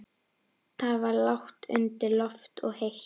Það var lágt undir loft og heitt.